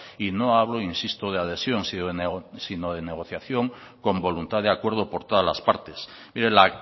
y no hablo insisto de adhesión sino de negociación con voluntad de acuerdo por todas las partes mire la